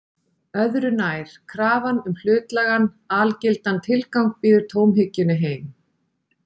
Öðru nær: Krafan um hlutlægan, algildan tilgang býður tómhyggjunni heim.